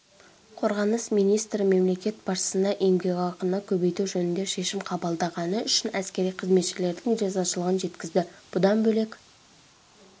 қорғаныс министрі мемлекет басшысына еңбекақыны көбейту жөнінде шешім қабылдағаны үшін әскери қызметшілердің ризашылығын жеткізді бұдан бөлек